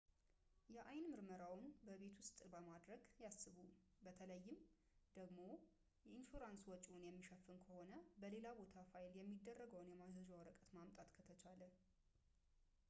የአይን ምርመራዎን በቤት ውስጥ ለማድረግ ያስቡ፣ በተለይም ደግሞ ኢንሹራንስ ወጪውን የሚሸፍን ከሆነና በሌላ ቦታ ፋይል የሚደረገውን የማዘዣ ወረቀት ማምጣት ከተቻለ